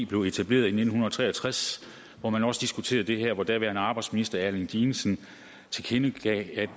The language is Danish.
blev etableret i nitten tre og tres hvor man også diskuterede det her hvor daværende arbejdsminister erling dinesen tilkendegav